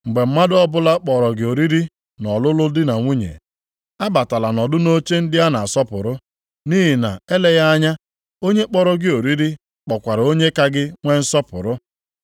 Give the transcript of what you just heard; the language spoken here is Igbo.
“Mgbe mmadụ ọbụla kpọrọ gị oriri nʼọlụlụ di na nwunye, abatala nọdụ nʼoche ndị a na-asọpụrụ, nʼihi na eleghị anya, onye kpọrọ gị oriri kpọkwara onye ka gị nwe nsọpụrụ.